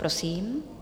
Prosím.